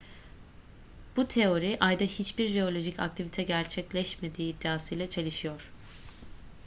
bu teori ayda hiçbir jeolojik aktivite gerçekleşmediği iddiasıyla çelişiyor